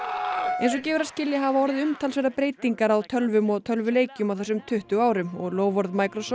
eins og gefur að skilja hafa umtalsverðar breytingar orðið á tölvum og tölvuleikjum á þessum tuttugu árum og loforð